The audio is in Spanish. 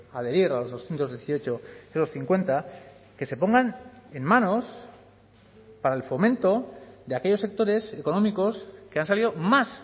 adherir a los doscientos dieciocho los cincuenta que se pongan en manos para el fomento de aquellos sectores económicos que han salido más